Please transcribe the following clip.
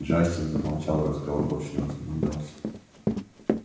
джастин замолчал и разговор больше не возобновлялся